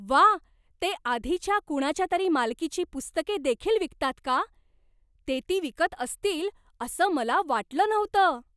व्वा! ते आधीच्या कुणाच्या तरी मालकीची पुस्तके देखील विकतात का? ते ती विकत असतील असं मला वाटलं नव्हतं.